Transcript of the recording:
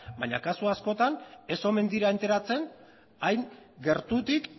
baina kasu askotan ez omen dira enteratzen hain gertutik